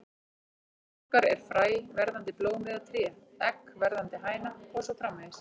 Í huga okkar er fræ verðandi blóm eða tré, egg verðandi hæna og svo framvegis.